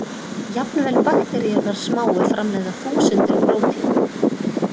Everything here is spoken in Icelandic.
Jafnvel bakteríurnar smáu framleiða þúsundir prótína.